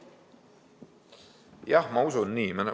Jah, ma usun seda.